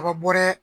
Kaba bɔ dɛ